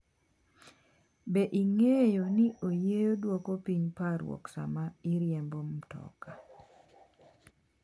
Be ing’eyo ni oyiyo dwoko piny parruok sama iriembo mtoka?